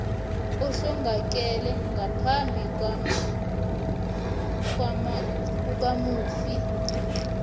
ohlongakele ngaphambi kwakamufi